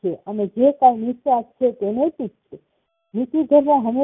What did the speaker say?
અને જે કઈ નિસ્વાર્થ છે એ નૈતિક છે નીતિ કરવા સમજીયે